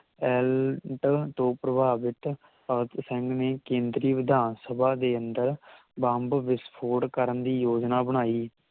ਐਲਟ ਤੋਂ ਪ੍ਰਭਾਵਿਤ ਭਗਤ ਸਿੰਘ ਨੇ ਕੇਂਦਰੀ ਵਿਧਾਨ ਸਭਾ ਦੇ ਅੰਦਰ ਬੰਬ ਵਿਸਫੋਟ ਕਰਨ ਦੀ ਯੋਜਨਾ ਬਣਾਈ